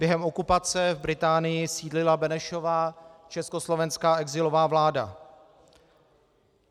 Během okupace v Británii sídlila Benešova československá exilová vláda.